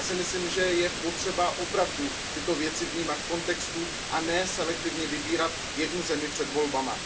Já si myslím, že je potřeba opravdu tyto věci vnímat v kontextu a ne selektivně vybírat jednu zemi před volbami.